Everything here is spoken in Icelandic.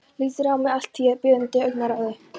Lítur á mig allt að því biðjandi augnaráði.